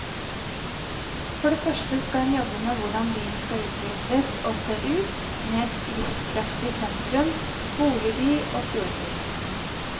For det første skal hun jobbe med hvordan byen skal utvikles og se ut, med et livskraftig sentrum, boligby og fjordby.